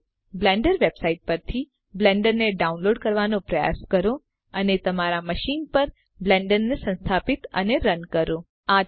હવે Blender website પરથી બ્લેન્ડરને ડાઉનલોડ કરવાનો પ્રયાસ કરો અને તમારા મશીન પર બ્લેન્ડરને સંસ્થાપિત અને રન કરો